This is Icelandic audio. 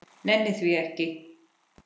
Nenni því ekki